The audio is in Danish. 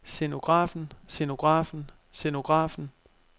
scenografen scenografen scenografen